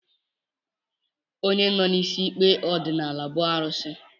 Onye nọ n'isi ikpe ọdịnala bụ arụsị